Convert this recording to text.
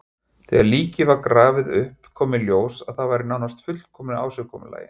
Þegar líkið var grafið upp kom í ljós að það var í nánast fullkomnu ásigkomulagi.